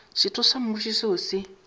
setho sa mmušo seo se